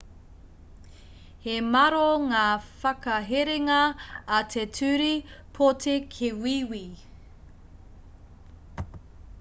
he māro ngā whakaherenga a te ture pōti ki wīwī